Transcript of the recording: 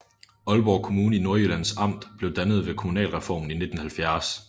Aalborg Kommune i Nordjyllands Amt blev dannet ved kommunalreformen i 1970